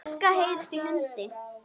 Í fjarska heyrist í hundi.